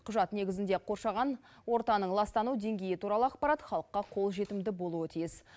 құжат негізінде қоршаған ортаның ластану деңгейі туралы ақпарат халыққа қолжетімді болуы тиіс